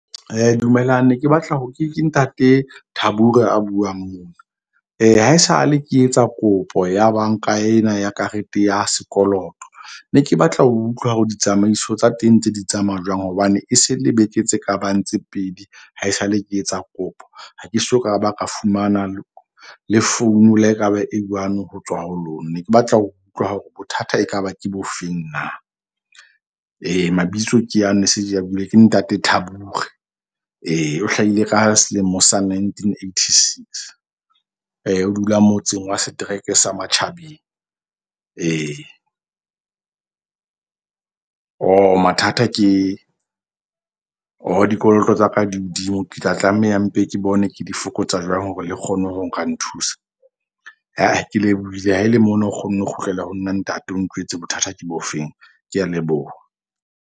Dumelang ne ke batla ho ke ntate Thabure ya buang mona. Haesale ke etsa kopo ya banka ena ya karete ya sekoloto. Ne ke batla ho utlwa hore ditsamaiso tsa teng ntse di tsamaya jwang. Hobane e se le beke tse kabang tse pedi. Haesale ke etsa kopo ha ke soka ba ka fumana le phone le ekaba e one ho tswa ho lona. Ne ke batla ho utlwa hore bothata ekaba ke bofeng na. Mabitso ke ya ne se ke a buile ke ntate Thabure. Ee, o hlahile ka selemo sa nineteen eighty six. O dula motseng wa setereke sa Matjhabeng. Ee, mathata ke dikoloto tsa ka di hodimo. Ke tla tlameha mpe, ke bone, ke di fokotsa jwang hore le kgone ho nka nthusa. Ke lebohile ha ele mona, o kgonne ho kgutlela ho nna ntate o ntjwetse bothata ke bo feng. Ke a leboha.